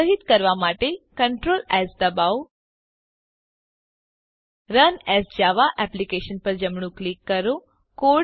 સંગ્રહીત કરવા માટે Ctrl એસ દબાવો રન એએસ જાવા એપ્લિકેશન પર જમણું ક્લિક કરો